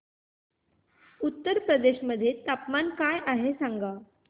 उत्तर प्रदेश मध्ये तापमान काय आहे सांगा